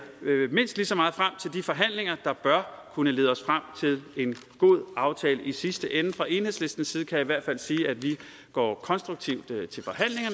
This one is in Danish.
mindst lige så meget frem til de forhandlinger der bør kunne lede os frem til en god aftale i sidste ende og fra enhedslistens side kan jeg i hvert fald sige at vi går konstruktivt